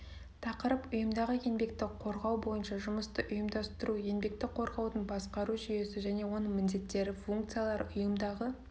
тақырып ұйымдағы еңбекті қорғау бойынша жұмысты ұйымдастыру еңбекті қорғаудың басқару жүйесі және оның міндеттері функциялары ұйымдағы